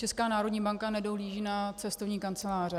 Česká národní banka nedohlíží na cestovní kanceláře.